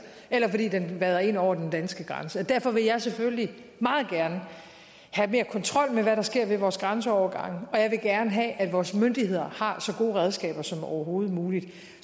eller fordi den vader ind over den danske grænse derfor vil jeg selvfølgelig meget gerne have mere kontrol med hvad der sker ved vores grænseovergange og jeg vil gerne have at vores myndigheder har så gode redskaber som overhovedet muligt